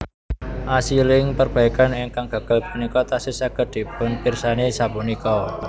Asiling perbaikan ingkang gagal punika tasih saged dipunpirsani sapunika